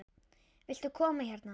Viltu koma hérna?